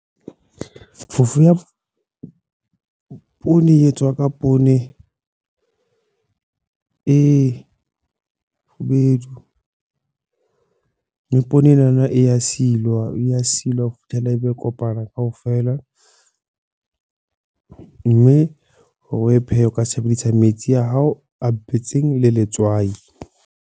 Phofoo ya poone e etswa ka poone e kgubedu. Le poone enana e ya silwa, e ya silwa hofihlela ebe e kopana kaofela. Mme hore o e pheha o ka tshebediso ya metsi a hao a betseng le letswai.